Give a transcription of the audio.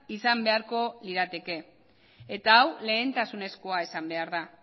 izan beharko lirateke eta hau lehentasunezkoa izan behar da